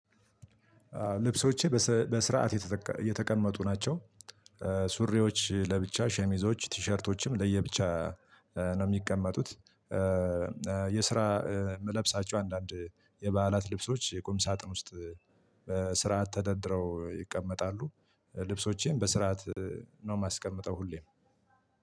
ልብሶቼ በስርዓት የተቀመጡ ናቸው። ሱሪዎች ለብቻ ሸሚዞች ቲሸርቶች ለየብቻ ነው የሚቀመጡት። የስራ የምለብሳቸው አንዳንድ የበዓላት ልብሶች የቁም ሳጥን ውስጥ በስርዓት ተደርድረው ይቀመጣሉ። ልብሶቼም በስርዓት ነው የማስቀምጠው ሁሌም።